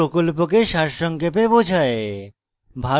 এটি প্রকল্পকে সারসংক্ষেপে বোঝায়